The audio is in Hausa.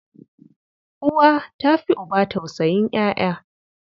Uwa ta fi uba tausayin ƴaƴa.